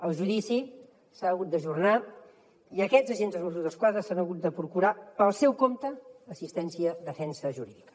el judici s’ha hagut d’ajornar i aquests agents dels mossos d’esquadra s’han hagut de procurar pel seu compte assistència defensa jurídica